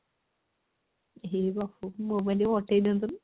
ହେ ବଉ ମୋ ପାଇଁ ଟିକେ ପଠେଇ ଦିଅନ୍ତୁନି